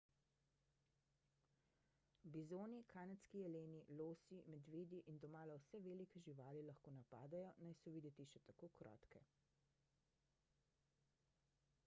bizoni kanadski jeleni losi medvedi in domala vse velike živali lahko napadejo naj so videti še tako krotke